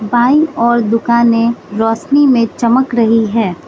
बाईं ओर दुकाने रोशनी में चमक रही है।